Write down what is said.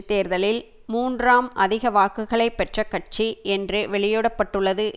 தேர்தலில் மூன்றாம் அதிக வாக்குகளை பெற்ற கட்சி என்று வெளியிட பட்டுள்ளது